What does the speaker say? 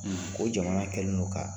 Ko jamana kɛlen don ka